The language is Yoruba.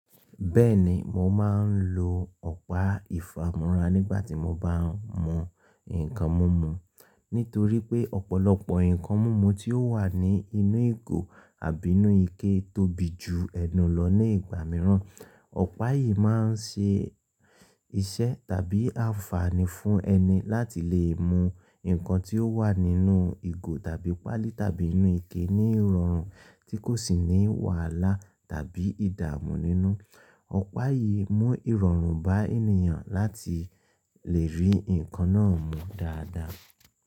Bẹ́ẹ̀ni, mò máa ń lo ọ̀pá ìfámúrá nígbà tí mò bá ń mú nǹkan mumu nítorí pé ọ̀pọ̀lọpọ̀ nǹkan mumu tí ó wà ní inú ìgò àbí inú ike tóbi ju ẹnu lọ ní ìgbà mìíràn. Ọ̀pá yìí máa ń ṣe iṣẹ́ tàbí àǹfààní fún ẹni láti lè mú nǹkan tí ó wà nínú ìgò tàbí páálí tàbí inú ike ní ìrọ̀rùn tí kò sì ní wàhálà tàbí ìdààmú nínú. Ọ̀pá yìí mú ìrọ̀rùn bá ènìyàn láti lè rí nǹkan náà mú dáadáa.